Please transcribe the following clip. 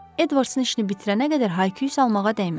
Edvardsın işini bitirənə qədər Hayküz almağa dəyməz.